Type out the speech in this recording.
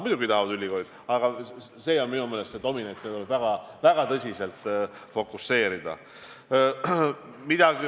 Muidugi ülikoolid tahavad seda, aga see on minu meelest dominant, mida tuleb väga tõsiselt fookuses hoida.